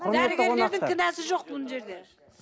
дәрігерлердің кінәсі жоқ бұл жерде